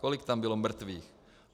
Kolik tam bylo mrtvých?